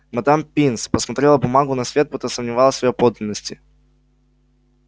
мадам пинс посмотрела бумагу на свет будто сомневалась в её подлинности